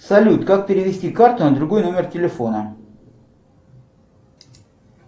салют как перевести карту на другой номер телефона